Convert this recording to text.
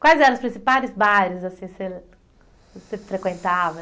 Quais eram os principais bares assim você que você frequentava?